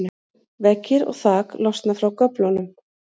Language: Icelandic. veggir og þak losna frá göflunum